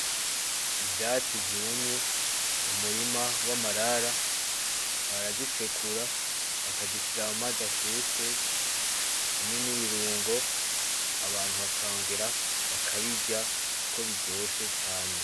Ivyatsi vyumye, umurima w'amarara. Barazisekura, bakazishira mu mazi ashushe, hamwe n'ibirungo, abantu bakongera bakabirya kuko biryoshe caane.